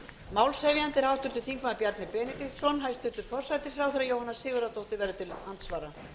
málshefjandi er háttvirtur þingmaður bjarni benediktsson hæstvirtur forsætisráðherra jóhanna sigurðardóttir verður til andsvara